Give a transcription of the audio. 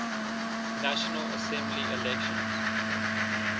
national assembly elections